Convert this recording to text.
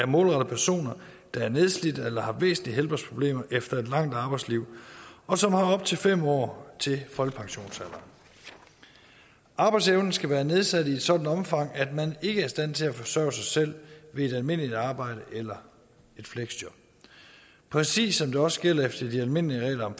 målrettet personer der er nedslidte eller har væsentlige helbredsproblemer efter et langt arbejdsliv og som har op til fem år til folkepensionsalderen arbejdsevnen skal være nedsat i et sådant omfang at man ikke er i stand til at forsørge sig selv ved et almindeligt arbejde eller et fleksjob præcis som det også gælder efter de almindelige regler om